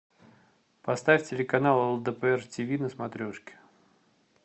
поставь телеканал лдпр ти ви на смотрешке